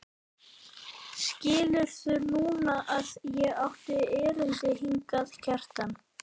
Skilurðu núna að ég átti erindi hingað, Kjartan?